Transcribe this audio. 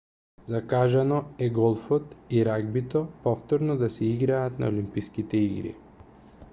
закажано е голфот и рагбито повторно да се играат на олимписките игри